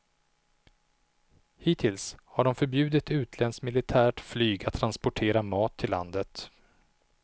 Hittills har de förbjudit utländskt militärt flyg att transportera mat till landet.